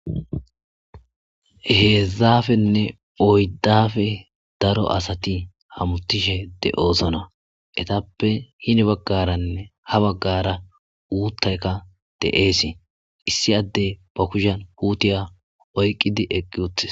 hezhuppenne oyduppe daro asati hamutishe de'osona ettappe heni bagaranne hani bagara uththayka de'es. Issi adde ba kushiya puttiya okkidi eqqi uttissi